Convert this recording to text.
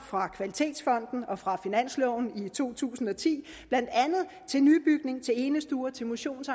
fra kvalitetsfonden og fra finansloven i to tusind og ti blandt andet til nybygning til enestuer til motions